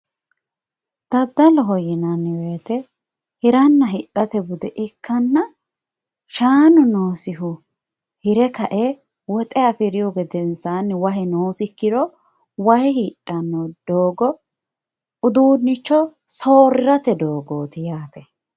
daddaloho yineemmo woyte hiranna hidhate bude ikkanna shaanu noosihu hire ka'e woxe afirihu gedensaanni wahe noosikki ikkiro hire kae wahe hidhdanno doogo uduunnicho soorri'rate doogooti yaate